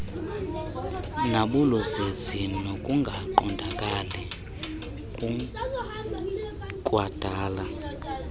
nabuluzizi nokungaqondakali kukwadala